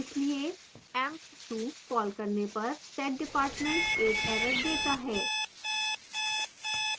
इसलिए emp2 call करने पर setdepartment एक error देता है